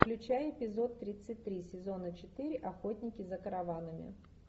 включай эпизод тридцать три сезона четыре охотники за караванами